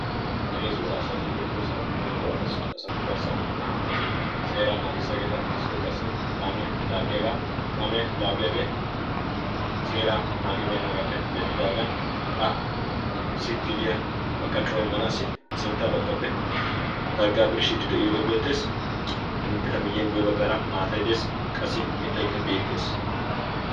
heezzu asati beettoosana. heezzu asatu garssan naa77ati seeraa naagissiyaageeta. issoy qassi kaamiyaa laaggiyaagaa. kaamiyaa laaggiyaagee seera naagibeennaagaappe denddidaagan aasi gidiyaa maqqaccuwaa immanaassi sintta baggappe targgaa birshshiidi de7iyoogee beettees. eta miyiyan guyye baggaara maataynne qassi mittaykka beettees.